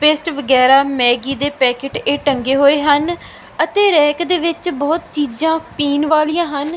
Paste ਵਗੈਰਾ Maggi ਦੇ packet ਇਹ ਟੰਗੇ ਹੋਏ ਹਨ ਅਤੇ ਰੈਕ ਦੇ ਵਿੱਚ ਬਹੁਤ ਚੀਜ਼ਾਂ ਪੀਣ ਵਾਲੀਆਂ ਹਨ।